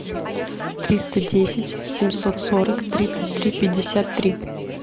триста десять семьсот сорок тридцать три пятьдесят три